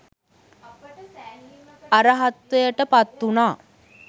අරහත්වයට පත්වුණා.